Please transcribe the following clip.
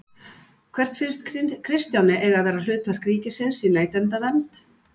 Hvert finnst Kristjáni eiga að vera hlutverk ríkisins í neytendavernd?